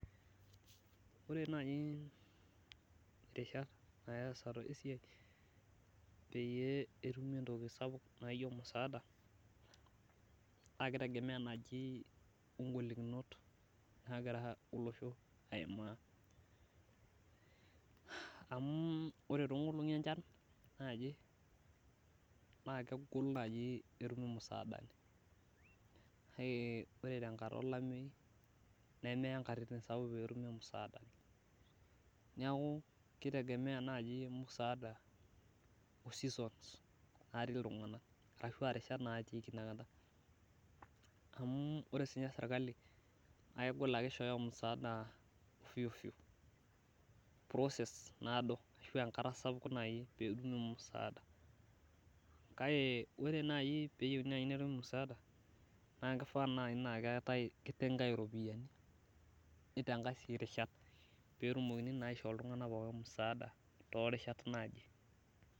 ore naaji irishat easata esiai peyie etumi entoki sapuk naijio musaada amu ore too inkolongi enchan naa kegol etumi musaada kake ore tenkata olameyu nemeya inkatitin sapuki pee etumi musaada, neeku kitegemea naaji musaada irishat naatiki inakata, amu ore sii ninye serikali naa kegol ishoyo musaada process naado, kake ore naaji pee naa kichangai iropiyiani.